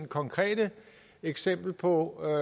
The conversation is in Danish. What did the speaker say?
konkrete eksempel på at